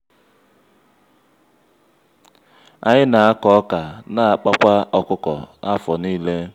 anyị na-akọ ọkà n'akpakwa ọkụkọ afọ niile.